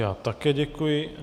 Já také děkuji.